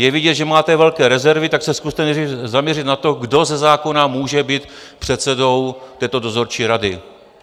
Je vidět, že máte velké rezervy, tak se zkuste zaměřit na to, kdo ze zákona může být předsedou této dozorčí rady.